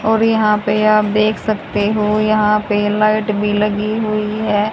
और यहां पे आप देख सकते हो यहां पे लाइट भी लगी हुई है।